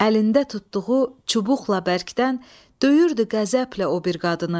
Əlində tutduğu çubuqla bərkdən döyürdü qəzəblə o bir qadını.